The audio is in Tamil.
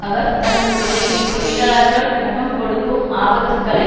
அவர் தனது உரையில் தொழிலாளர்கள் முகம் கொடுக்கும் ஆபத்துக்களை